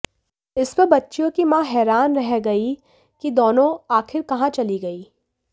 इस पर बच्चियों की मां हैरान रह गई कि दोनों आखिर कहां चली गईं